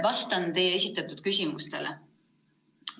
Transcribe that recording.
Vastan teie esitatud küsimustele.